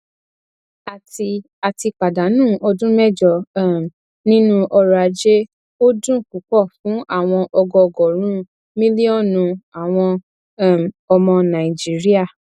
a ti a ti pàdánù ọdún mẹjọ um nínú ọrọ ajé ó dùn ún púpọ fún àwọn ọgọọgọrùnún mílíònù àwọn um ọmọ nàìjíríà